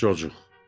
Çocuq.